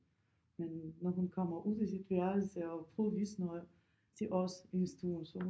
Men når hun kommer ud af sit værelse og prøver at vise noget til os i stuen så hun